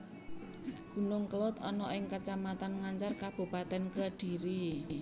Gunung Kelud ana ing Kacamatan Ngancar Kabupatèn Kedhiri